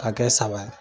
Ka kɛ saba ye